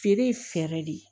Feere ye fɛɛrɛ de ye